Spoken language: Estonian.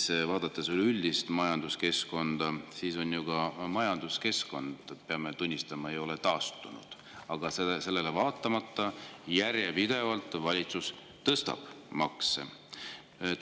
Aga kui vaadata üleüldist majanduskeskkonda, siis pole ju kogu majanduskeskkond, peame tunnistama, taastunud, ent sellele vaatamata järjepidevalt valitsus tõstab makse.